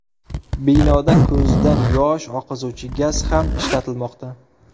Binoda ko‘zdan yosh oqizuvchi gaz ham ishlatilmoqda.